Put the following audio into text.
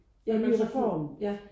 Ja en ny reform